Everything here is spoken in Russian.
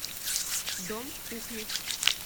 дом кухни